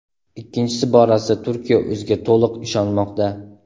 Ikkinchisi borasida Turkiya o‘ziga to‘liq ishonmoqda.